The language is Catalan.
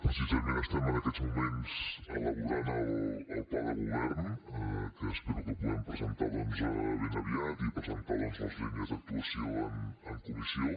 precisament estem en aquests moments elaborant el pla de govern que espero que puguem presentar doncs ben aviat i presentar les línies d’actuació en comissió